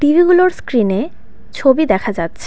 টিভিগুলোর স্ক্রিনে ছবি দেখা যাচ্ছে .